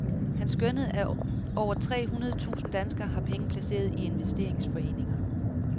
Han skønnede, at over tre hundrede tusinde danskere har penge placeret i investeringsforeninger.